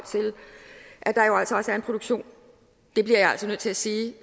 til at en produktion det bliver jeg altså nødt til at sige